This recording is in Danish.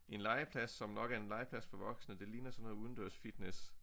En legeplads som nok er en legeplads for voksne det ligner sådan noget udendørsfitness